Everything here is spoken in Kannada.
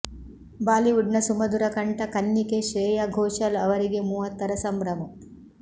ಬಾಲಿವುಡ್ ನ ಸುಮಧುರ ಕಂಠ ಕನ್ನಿಕೆ ಶ್ರೇಯಾ ಘೋಷಾಲ್ ಅವರಿಗೆ ಮೂವತ್ತರ ಸಂಭ್ರಮ